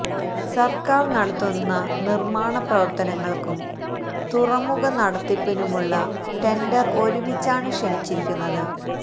സർക്കാർ നടത്തുന്ന നിർമ്മാണ പ്രവർത്തനങ്ങൾക്കും തുറമുഖ നടത്തിപ്പിനുമുള്ള ടെൻഡർ ഒരുമിച്ചാണ് ക്ഷണിച്ചിരിക്കുന്നത്